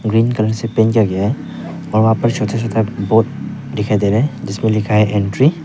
Green colour से paint किया गया है और वहां पर छोटा छोटा बोर्ड दिखाई दे रहा है जिसपे लिखा है एंट्री ।